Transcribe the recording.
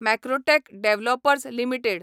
Macrotech Developers limited